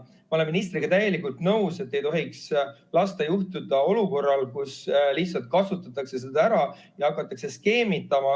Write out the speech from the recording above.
Ma olen ministriga täielikult nõus, et ei tohiks lasta juhtuda sellel, et lihtsalt kasutatakse olukorda ära ja hakatakse skeemitama.